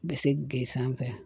Bi se ke sanfɛ